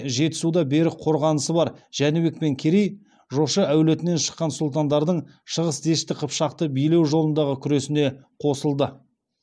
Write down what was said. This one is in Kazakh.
жетісуда берік қорғанысы бар жәнібек пен керей жошы әулетінен шыққан сұлтандардың шығыс дешті қыпшақты билеу жолындағы күресіне қосылды